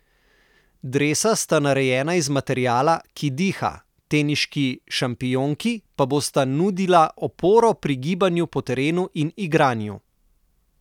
Dresa sta narejena iz materiala, ki diha, teniški šampionki pa bosta nudila oporo pri gibanju po terenu in igranju.